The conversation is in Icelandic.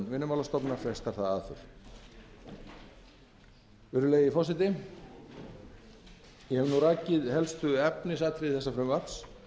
vinnumálastofnunar frestar það aðför virðulegi forseti ég hef nú rakið helstu efnisatriði frumvarpsins